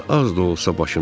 az da olsa başım çıxır.